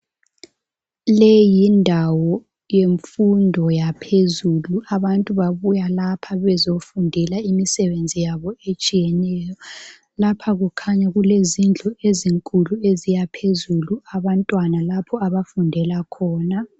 Leyi yindawo yemfundo yaphezulu. Abantu babuya lapha bezefundela imisebenzi yabo etshiyeneyo. Lapha kukhanya kulezindlu ezinde zisiyaphezulu. Abantwana lapha abagundrla khona.